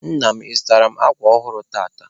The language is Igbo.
Nna m, ị zụtaara m akwa ọhụrụ tata?